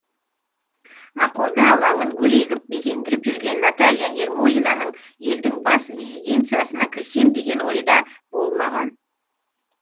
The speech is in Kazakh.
ақорда алаңын гүл егіп безендіріп жүрген наталья ермолинаның елдің бас резиденциясына кірсем деген ойы да болмаған